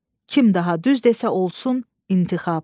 Kim daha düz desə, olsun intixab."